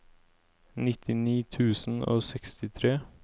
nittini tusen og sekstitre